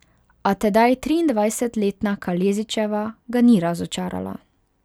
A tedaj triindvajsetletna Kalezićeva ga ni razočarala.